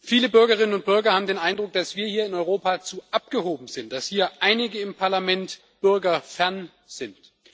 Viele Bürgerinnen und Bürger haben den Eindruck, dass wir hier in Europa zu abgehoben sind, dass einige hier im Parlament bürgerfern sind.